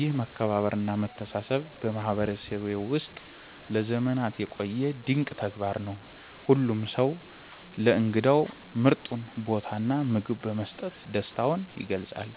ይህ መከባበርና መተሳሰብ በማህበረሰቤ ውስጥ ለዘመናት የቆየ ድንቅ ተግባር ነው። ሁሉም ሰው ለእንግዳው ምርጡን ቦታና ምግብ በመስጠት ደስታውን ይገልጻል።